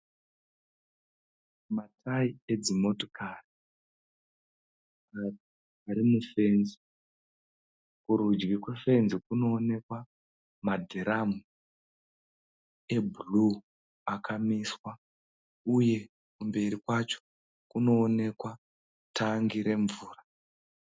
Matayi edzimotokari ari mufetsi. Kurudyi kwefetsi kunonekwa madhiramu ebhuruu akamiswa Uye kumberi kwacho kuonekewa tangi remvura